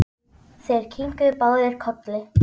Þeir kinkuðu báðir kolli.